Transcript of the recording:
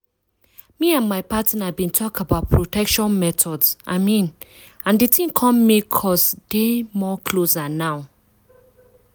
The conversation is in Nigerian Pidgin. me and my partner been talk about protection methods i mean and the thing come make us dey more closer now